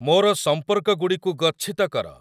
ମୋର ସମ୍ପର୍କଗୁଡ଼ିକୁ ଗଚ୍ଛିତ କର